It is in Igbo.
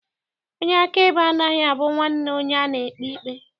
Onye akaebe anaghị abụ nwanne onye a na-ekpe ikpe.